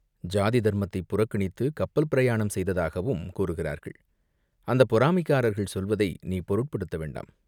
ஜாதி தர்மத்தைப் புறக்கணித்துக் கப்பல் பிரயாணம் செய்ததாகவும் கூறுகிறார்கள், அந்தப் பொறாமைக்காரர்கள் சொல்வதை நீ பொருட்படுத்த வேண்டாம்.